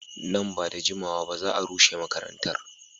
Nan ba da jimawa ba za a rushe makarantar.